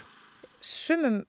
suma